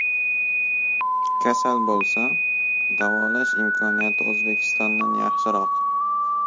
Kasal bo‘lsa, davolash imkoniyati O‘zbekistondan yaxshiroq.